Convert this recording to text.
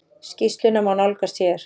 Skýrsluna má nálgast hér.